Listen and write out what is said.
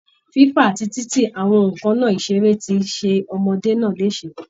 Fífà àti títì àwọn nǹkan ìṣeré ti ṣe ọmọdé náà léṣe